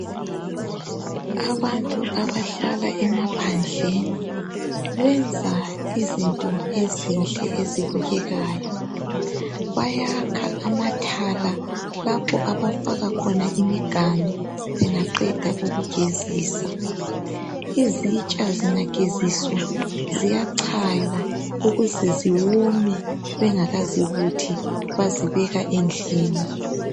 Abantu abahlala emaphandleni benza izinto ezinhle ezibukekayo. Bayakha amathala lapho abafaka khona imiganu bengaqeda ukugezisa. Izitsha zingageziswa ziyachaywa ukuze ziwome bengakazibuthi bazibeka endlini.